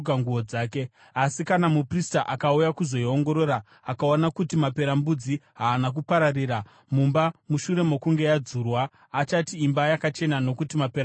“Asi kana muprista akauya kuzoiongorora, akaona kuti maperembudzi haana kupararira mumba mushure mokunge yadzurwa, achati imba yakachena nokuti maperembudzi aenda.